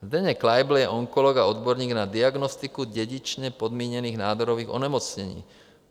Zdeněk Kleibl je onkolog a odborník na diagnostiku dědičně podmíněných nádorových onemocnění.